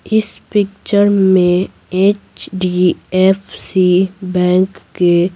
इस पिक्चर में HDFC bank के --